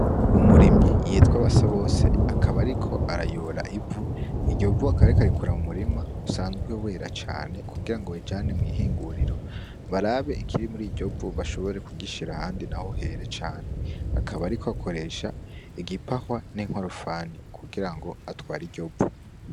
Umurimyi yitwa Basabose akaba ariko arayora ivu; iryo vu akaba ariko arikura mu murima usanzwe wera cane kugira ngo barijane mw'ihinguriro barabe barabe ikiri muri iryo vu bashobore kugishira ahandi naho here cane. Akaba ariko akoresha igipahwa n'inkorofani kugira ngo atware iryo vu.